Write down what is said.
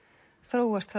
þróast þá